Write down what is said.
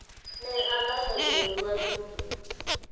Ne alalo joodwa duto.